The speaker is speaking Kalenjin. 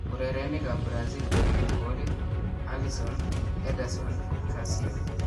Urerenikab Brazil cheribee koolit : Alisson , Ederson ,Cassio